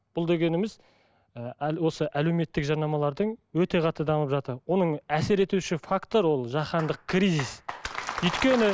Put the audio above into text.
бұл дегеніміз і осы әлеуметтік жарнамалардың өте қатты дамып жатыр оның әсер етуші фактор ол жахандық кризис өйткені